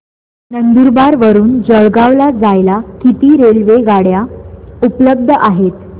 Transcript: नंदुरबार वरून जळगाव ला जायला किती रेलेवगाडया उपलब्ध आहेत